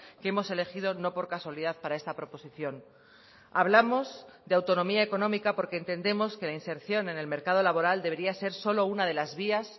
que hemos elegido no por casualidad para esta proposición hablamos de autonomía económica porque entendemos que la inserción en el mercado laboral debería ser solo una de las vías